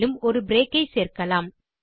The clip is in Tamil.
மேலும் ஒரு பிரேக் சேர்க்கலாம்